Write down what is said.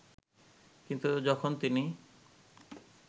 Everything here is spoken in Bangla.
কিন্তু যখন তিনি